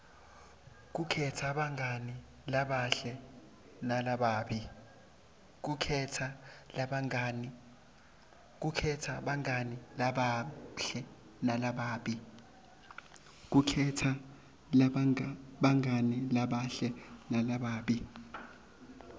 kukhetsa bangani labahle nalababi